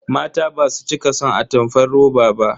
Mata basu cika son atamfar roba ba.